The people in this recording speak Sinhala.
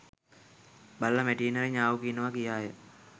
බළලා මැටියෙන් හරි ඤාව් කියනවා කියාය.